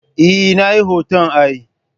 Eh, Nayi hoton ai